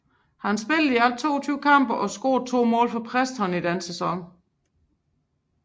Han spillede i alt 22 kampe og scorede to mål for Preston i den sæson